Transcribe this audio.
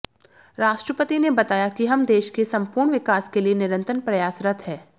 राष्ट्रपति ने बताया कि हम देश के सम्पूर्ण विकास के लिए निरंतर प्रयासरत हैं